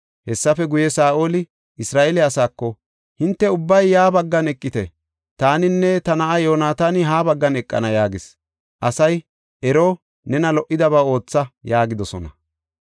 Hessafe guye, Saa7oli Isra7eele asaako, “Hinte ubbay ya baggan eqite; taaninne ta na7aa Yoonataani ha baggan eqana” yaagis. Asay, “Ero, nena lo77idaba ootha” yaagidosona.